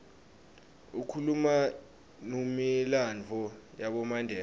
ikhuluma numilandvo yabomandela